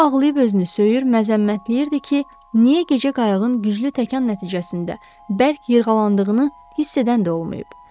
O ağlayıb özünü söyür, məzəmmətləyirdi ki, niyə gecə qayığın güclü təkan nəticəsində bərk yırğalandığını hiss edən də olmayıb?